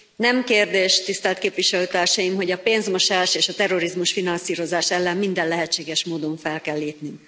Nem kérdés, tisztelt képviselőtársaim, hogy a pénzmosás és a terrorizmus finanszírozása ellen minden lehetséges módon fel kell lépni.